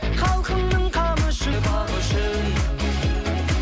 халқымның қамы үшін бағы үшін